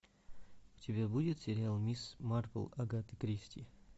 у тебя будет сериал мисс марпл агаты кристи